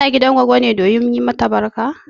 Kana gidan goggo ne domin yi mata barka?